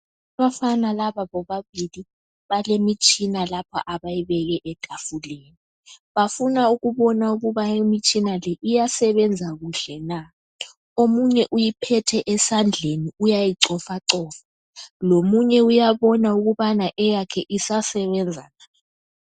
Abafana laba bobabili balemitshina lapha abayibeke etafuleni bafuna ukubona ukuba imitshina le iyasebenza kuhle na. Omunye uyiphethe esandleni uyayicofacofa lomunye uyabona ukubana eyakhe isasebenza na.